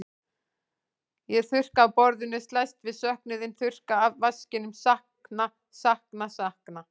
Ég þurrka af borðinu, slæst við söknuðinn, þurrka af vaskinum, sakna, sakna, sakna.